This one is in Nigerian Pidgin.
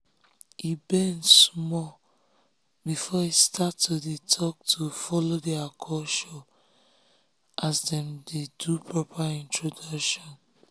him bend small before he start to dey talkto follow their culture as dem dey do proper introduction.